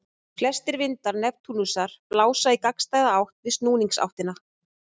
Flestir vindar Neptúnusar blása í gagnstæða átt við snúningsáttina.